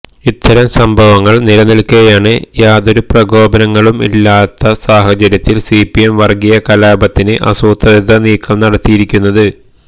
ഇത്തരം സംഭവങ്ങള് നിലനില്ക്കെയാണ് യാതൊരു പ്രകോപനങ്ങളും ഇല്ലാത്ത സാഹചര്യത്തില് സിപിഎം വര്ഗ്ഗീയ കലാപത്തിന് ആസൂത്രിത നീക്കം നടത്തിയിരിക്കുന്നത്